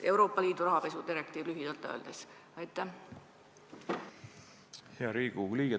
Hea Riigikogu liige!